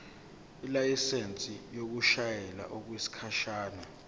ilayisensi yokushayela okwesikhashana